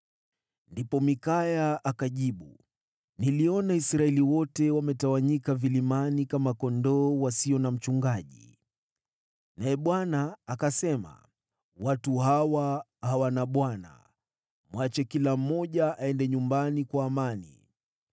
Ndipo Mikaya akajibu, “Niliona Israeli wote wametawanyika vilimani kama kondoo wasio na mchungaji, naye Bwana akasema, ‘Watu hawa hawana bwana. Mwache kila mmoja aende nyumbani kwa amani.’ ”